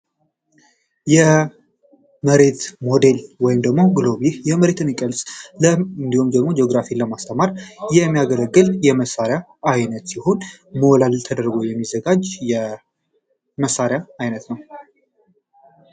የመሬት ሞዴል ወይም ሉል ይህ ጂኦግራፊ ለማስተማሪ የሚያገለግል የመሳርያ አይነት ሲሆን ሞዴል የተደረጉ የሚዘጋጅ የመሳሪያ አይነት ነው።